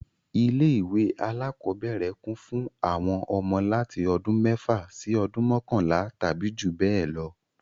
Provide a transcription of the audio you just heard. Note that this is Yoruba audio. Ilé ìwé alákọ́bẹ̀rẹ̀ kún fún àwọn ọmọ láti ọdún mẹ́fà sí ọdún mọkanla tàbí jù bẹ lọ